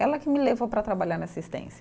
Ela que me levou para trabalhar na assistência.